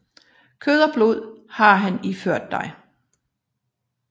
Kød og blod har han iført dig